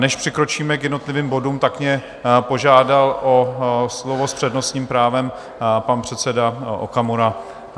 Než přikročíme k jednotlivým bodům, tak mě požádal o slovo s přednostním právem pan předseda Okamura.